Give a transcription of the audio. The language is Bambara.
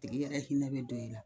Tigi yɛrɛ hinɛ bɛ don i la